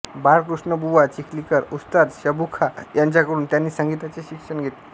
बाळकृष्णबुवा चिखलीकर उस्ताद शब्बू खॉं यांच्याकडून त्यांनी संगीताचे शिक्षण घेतले